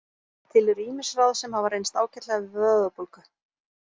Til eru ýmis ráð sem hafa reynst ágætlega við vöðvabólgu.